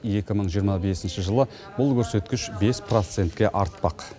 екі мың жиырма бесінші жылы бұл көрсеткіш бес процентке артпақ